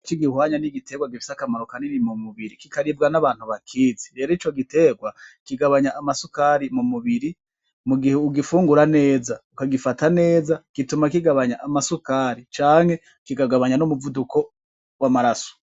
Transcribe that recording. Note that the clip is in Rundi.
Ikibihwanya ni igitegwa gifise akamaro kanini mu mubiri kikaribwa n'abantu bakizi, rero ico gitegwa kigabanya amasukari mu mubiri mugihe ugifungura neza ukagifata neza gituma kigabanya amasukari canke kikagabanya n'umuvuduko w'amaraso.